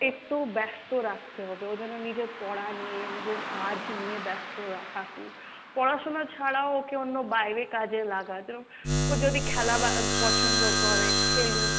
একটু ব্যাস্ত রাখতে হবে, ও যেন নিজের পড়া নিয়ে, নিজের কাজ নিয়ে ব্যস্ত রাখা পড়াশুনো ছাড়াও ওকে অন্য বাইরে কাজে লাগা, যেরম ও যদি খেলা বা আহ পছন্দ করে খেলুক,